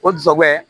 O dusɛbɔ